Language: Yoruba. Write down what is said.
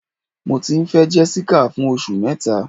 Mọ ti n fẹ Jessica fún ọṣù mẹta